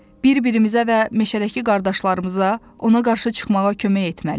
Bir-birimizə və meşədəki qardaşlarımıza ona qarşı çıxmağa kömək etməliyik.